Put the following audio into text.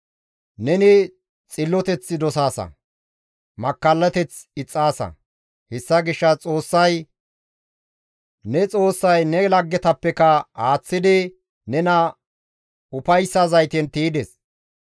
Neni xilloteth dosaasa; makkallateth ixxaasa. Hessa gishshas Xoossay, ne Xoossay ne laggetapekka aaththidi nena ufayssa zayten tiydes.